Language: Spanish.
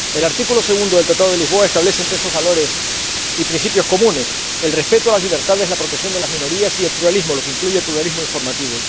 El artículo 2 del Tratado de Lisboa establece entre esos valores y principios comunes el respeto de las libertades, la protección de las minorías y el pluralismo, lo que incluye el pluralismo informativo.